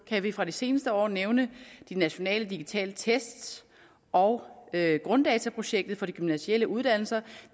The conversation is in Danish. kan vi fra de seneste år nævne de nationale digitale test og grunddataprojektet for de gymnasiale uddannelser